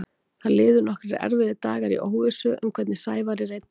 Það liðu nokkrir erfiðir dagar í óvissu um hvernig Sævari reiddi af.